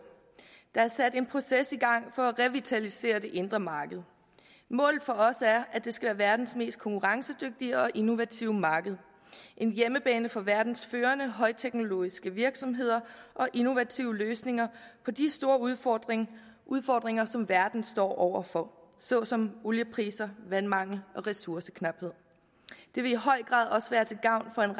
der er sat en proces i gang for at revitalisere det indre marked målet for os er at det skal være verdens mest konkurrencedygtige og innovative marked en hjemmebane for verdens førende højteknologiske virksomheder og innovative løsninger på de store udfordringer udfordringer som verden står over for såsom oliepriser vandmangel og ressourceknaphed det vil i høj grad også være til gavn for en